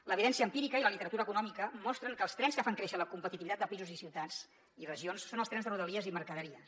l’evidència empírica i la literatura econòmica mostren que els trens que fan créixer la competitivitat de països i ciutats i regions són els trens de rodalies i mercaderies